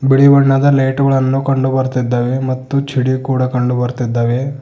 ಬಿಳಿ ಬಣ್ಣದ ಲೈಟು ಗಳನ್ನು ಕಂಡು ಬರ್ತಿದ್ದಾವೆ ಮತ್ತು ಚಿಡಿ ಕೂಡ ಕಂಡು ಬರ್ತಿದ್ದಾವೆ.